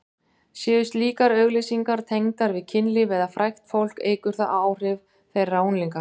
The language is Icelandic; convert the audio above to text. Séu slíkar auglýsingar tengdar við kynlíf eða frægt fólk eykur það áhrif þeirra á unglinga.